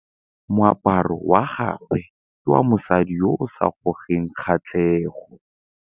Moaparô wa gagwe ke wa mosadi yo o sa ngôkeng kgatlhegô.